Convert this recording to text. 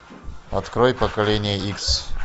открой поколение икс